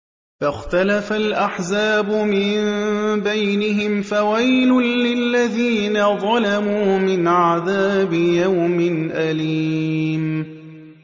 فَاخْتَلَفَ الْأَحْزَابُ مِن بَيْنِهِمْ ۖ فَوَيْلٌ لِّلَّذِينَ ظَلَمُوا مِنْ عَذَابِ يَوْمٍ أَلِيمٍ